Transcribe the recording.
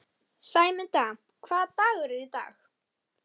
Hann lagðist í grasið og horfði uppí loftið.